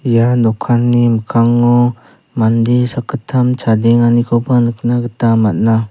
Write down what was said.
ia dokanni mikkango mande sakgittam chadenganikoba nikna gita man·a.